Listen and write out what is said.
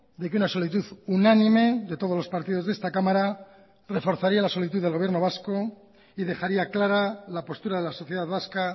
de que una solicitud unánime de todos los partidos de esta cámara reforzaría la solicitud del gobierno vasco y dejaría clara la postura de la sociedad vasca